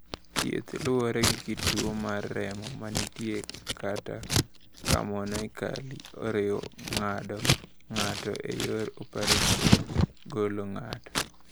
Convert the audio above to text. "Thieth luwore gi kit tuo mar remo ma nitie kata kamanoically oriwo ng’ado ng’ato e yor opereson (golo ng’ato)."